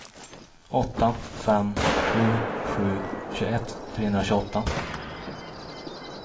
åtta fem sju sju tjugoett trehundratjugoåtta